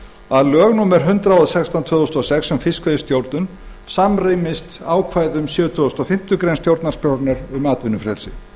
að lög númer hundrað og sextán tvö þúsund og sex um stjórn fiskveiða samrýmist ákvæðum sjötugasta og fimmtu grein stjórnarskrárinnar um atvinnufrelsi